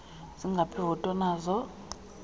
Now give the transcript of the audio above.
zingaphi iivoti onazo